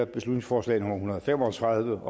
beslutningsforslag nummer hundrede og fem og tredive